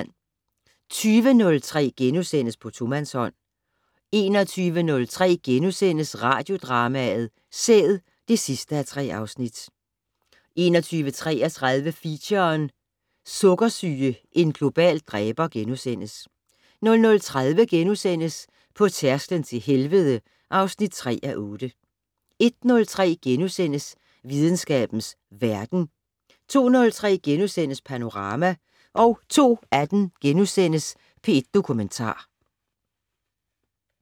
20:03: På tomandshånd * 21:03: Radiodrama: Sæd (3:3)* 21:33: Feature: Sukkersyge - en global dræber * 00:30: På tærsklen til helvede (3:8)* 01:03: Videnskabens Verden * 02:03: Panorama * 02:18: P1 Dokumentar *